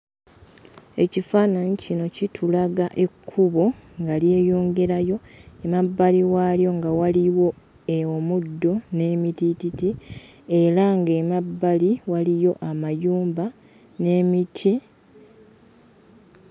Ekifaananyi kino kitulaga ekkubo nga lyeyongerayo, emabbali waalyo nga waliwo omuddo n'emitiititi era ng'emabbali waliyo amayumba n'emiti.